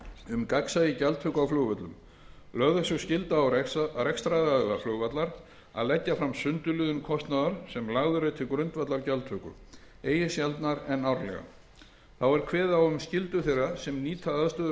um gagnsæi gjaldtöku á flugvöllum lögð er sú skylda á rekstraraðila flugvallar að leggja fram sundurliðun kostnaðar sem lagður er til grundvallar gjaldtöku eigi sjaldnar en árlega þá er kveðið á um skyldu þeirra sem nýta aðstöðu flugvalla